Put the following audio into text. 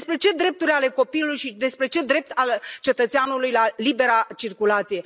Despre ce drepturi ale copilului și despre ce drept al cetățeanului la libera circulație?